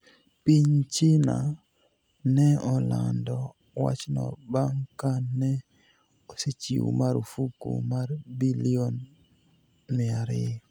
Piniy Chinia ni e olanido wachno banig' ka ni e osechiw marfuk mar bilioni 200.